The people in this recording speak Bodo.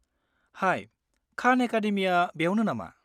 हाइ, खान एकाडेमिया बेयावनो नामा?